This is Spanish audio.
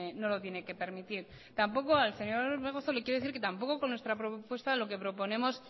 no lo tiene que permitir tampoco al señor orbegozo le quiero decir que tampoco con nuestra propuesta lo que proponemos